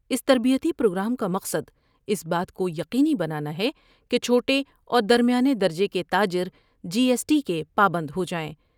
اس تربیتی پروگرام کا مقصد اس بات کو یقینی بنانا ہے کہ چھوٹے اور درمیانی درجے کے تاجر جی ایس ٹی کے پابند ہو جائیں ۔